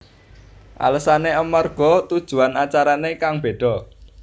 Alasané amarga tujuan acarané kang béda